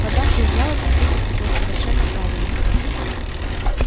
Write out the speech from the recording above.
поддавшись жалости ты поступил совершенно правильно